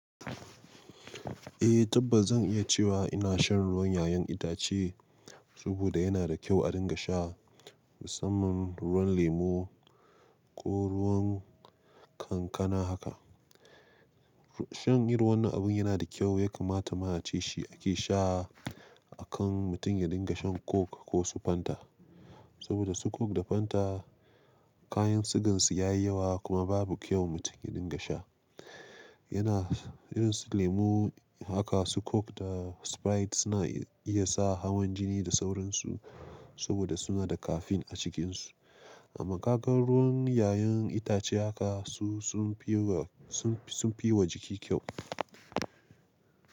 Eh tabbas zan iya cewa ina shan ruwan ƴaƴan itace saboda yana da kyau a dinga sha musamman ruwan lemu ko ruwan kankana haka. Shan irin wannan abin yana da kyau ya kamata ma a ce shi ake sha akan mutum ya dinga shan coke ko su fanta. Saboda su coke da fanta kayan sigansu ya yi yawa kuma babu kyau mutum ya dinga sha. Yana irin su lemu haka su coke da sprite suna iya sa hawan jini da sauransu saboda suna da caffeine a cikinsu. Amma kagaruwan ƴaƴan itace haka su sunfi yi wa jiki kyau.